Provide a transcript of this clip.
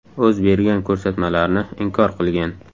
O‘z bergan ko‘rsatmalarni inkor qilgan.